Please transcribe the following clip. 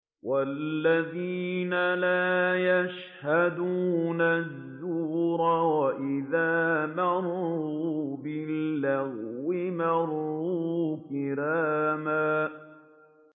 وَالَّذِينَ لَا يَشْهَدُونَ الزُّورَ وَإِذَا مَرُّوا بِاللَّغْوِ مَرُّوا كِرَامًا